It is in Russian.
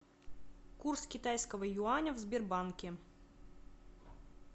курс китайского юаня в сбербанке